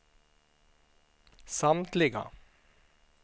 samtliga